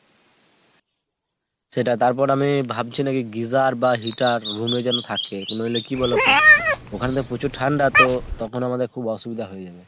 সেটাই। তারপর আমি ভাবছি নাকি geyser বা heater room এ যেন থাকে। নইলে কি বলোতো ওখানে তো প্রচুর ঠান্ডা তো তখন আমাদের খুব অসুবিধা হয়ে যাবে।